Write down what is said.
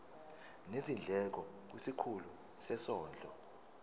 nezindleko kwisikhulu sezondlo